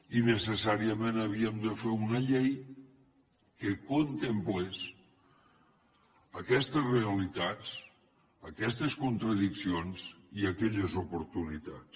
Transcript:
i necessàriament havíem de fer una llei que contemplés aquestes realitats aquestes contradiccions i aquelles oportunitats